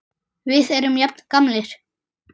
Við erum jafn gamlir.